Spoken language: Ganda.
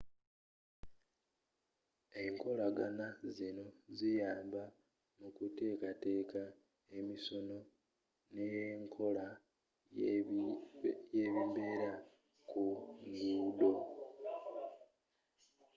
enkolagana zinno ziyamba mu kuteekateeka emisono n'enkola y'ebibeera ku nguudo